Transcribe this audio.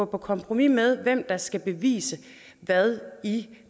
på kompromis med hvem der skal bevise hvad i